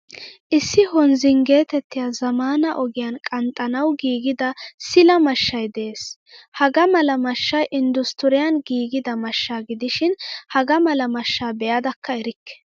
Issi honzingeetettiya zamaana ogiyan qanxxanawu giigida sila mashshay de'ees. Hagaa mala mashshay industuriyan giigida mashsha gidishin hagaa mala mashsha beadakka erikke.